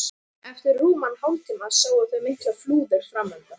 Eftir rúman hálftíma sáu þau miklar flúðir framundan.